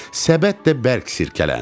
Səbət də bərk silkələndi.